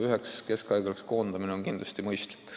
Üheks suureks haiglaks koondamine on kindlasti mõistlik.